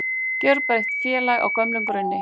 Gjörbreytt félag á gömlum grunni